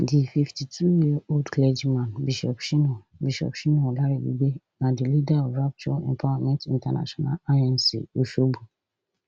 di fifty-twoyearold clergyman bishop shina bishop shina olaribigbe na di leader of rapture empowerment international inc osogbo